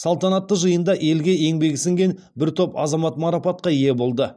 салтанатты жиында елге еңбегі сіңген бір топ азамат марапатқа ие болды